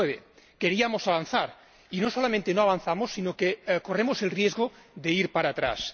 2009. Queríamos avanzar, y no solamente no avanzamos sino que corremos el riesgo de ir para atrás.